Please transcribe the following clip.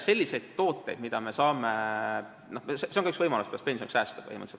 See on ka põhimõtteliselt üks võimalus, kuidas pensioniks säästa.